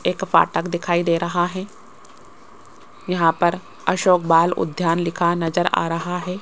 एक फाटक दिखाई दे रहा है यहां पर अशोक बाल उद्यान लिखा नजर आ रहा है।